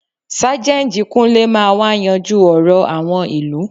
Sájẹ́ǹjì Kúnlé máa wa yanjú ọ̀rọ̀ àwọn ìlú